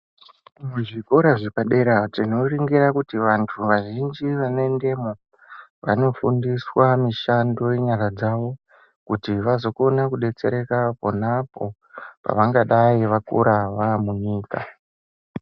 Muzvikora zvepadera tinoringira kuti antu azhinji vanendemwo vanofundiswa mushando yenyara dzawo kuti vazokone kudetsereka ponapo vangadai vakura vamunyika.